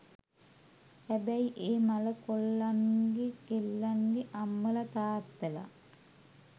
හැබැයි ඒ මළ කොල්ලන්ගෙ කෙල්ලන්ගෙ අම්මල තාත්තල